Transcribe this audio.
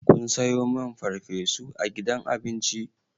Kun sayo min farfesu a gidan abinci?